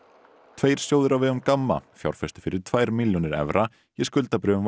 tveir sjóðir á vegum Gamma fjárfestu fyrir tvær milljónir evra í skuldabréfum